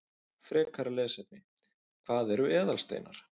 Frekara lesefni: Hvað eru eðalsteinar?